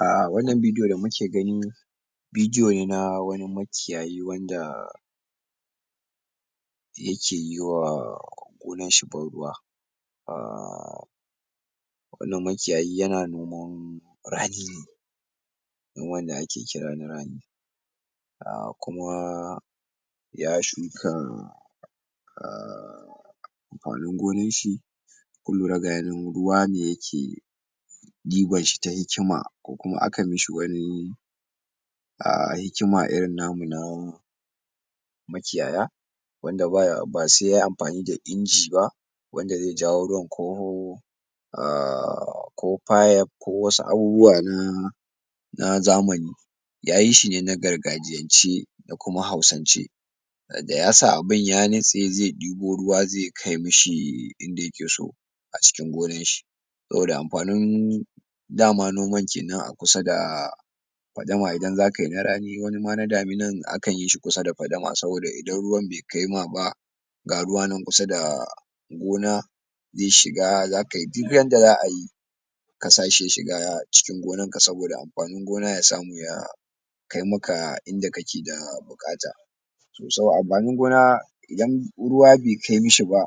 Ah wannan bidiyo da muke gani bidiyo ne na wani makiyayi wanda da yakeyi wa gonanshi ban ruwa ahhh wannan makiyayi yana noman rani ne noman da ake kira na rani ahh kuma ya shuka ahh a wannan gonanshi in kun lura ga yanan ruwa ne yake ɗibanshi ta hikima ko kuma aka mishi wani ahh, hikima irin namu na makiyaya wanda baya.. ba se yayi amfani da inji ba wanda ze jawo ruwan ko ahh ko fayef ko wasu abubuwa na na zamani yayi shi ne na gargajiyance da kuma hausance ah da ya sa abin ya nutse ze ɗibo ruwa ze kai mishi inda yakeso a cikin gonanshi saboda amfanin dama noman kenan a kusa da fadama idan zakai na rani, wani ma na daminan akan yi shi kusa da fadama saboda idan ruwan bai kai ma ba ga ruwa nan kusa da gona ze shiga, zakai duk yanda za'ayi ka sashi ya shiga cikin gonanka saboda amfani gona ya samu ya kai maka inda kake da bukata so saboda amfanin gona idan ruwa bai kai mishi ba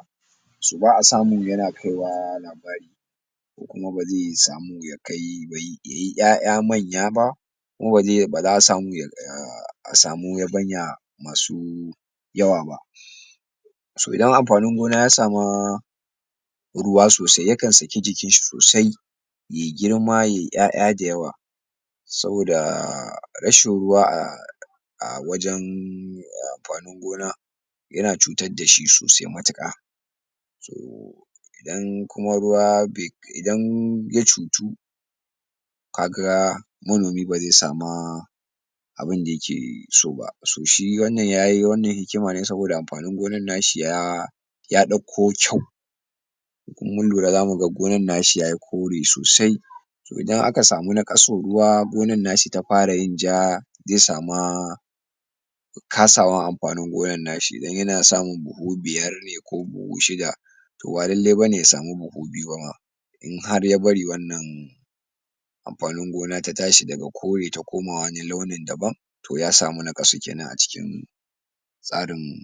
so ba'a samu yana kaiwa labari ko kuma baze samu yakai bai.. yayi ƴaƴa manya ba kuma baze, baza a samu ya, ahh a samu yabanya masu yawa ba so idan amfanin gona ya sama ruwa sosai, yakan saki jikinshi sosai ye girma ye ƴaƴa da yawa saboda rashin ruwa ahh a wajen ahh amfanin gona yana cutar dashi sosai matuƙa toh idan kuma ruwa be kai.. idan ya cutu kaga manomi bazai sama abinda yake so ba so shi wannan yayi wannan hikima ne saboda amfanin gonan nashi ya ya ɗauko kyau in kun.. mun lura zamuga gonan nashi tayi kore sosai so idan aka samu naƙasun ruwa gonan nashi ta fara yin ja ze sama ze samu kasawan amfanin gonan nashi, idan yana samun buhu biyar ne ko buhu shida to ba lallai bane ya samu buhu biyu ba ma in har ya bari wannan amfanin gona ta tashi daga kore ta koma wani launin daban to ya samu naƙasu kenan a cikin tsarin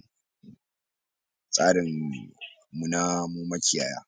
tsarin mu na mu makiyaya